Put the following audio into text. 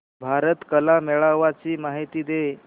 भारत कला मेळावा ची माहिती दे